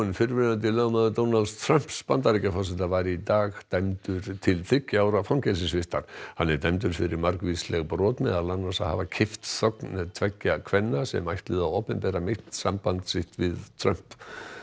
fyrrverandi lögmaður Donalds Trumps Bandaríkjaforseta var í dag dæmdur til þriggja ára fangelsisvistar hann er dæmdur fyrir margvísleg brot meðal annars að hafa keypt þögn tveggja kvenna sem ætluðu að opinbera meint samband sitt við Trump